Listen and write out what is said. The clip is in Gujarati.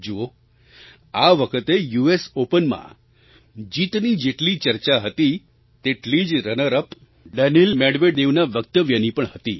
જુઓ આ વખતે યુએસ ઑપનમાં જીતની જેટલી ચર્ચા હતી તેટલી જ રનર અપ ડેનિલ Medvedevના વક્તવ્યની પણ હતી